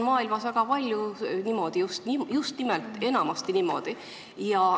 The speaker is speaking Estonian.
Maailmas on väga palju tehtud niimoodi, enamasti ongi niimoodi.